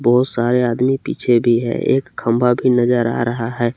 बहोत सारे आदमी पीछे भी है एक खंभा भी नजर आ रहा है।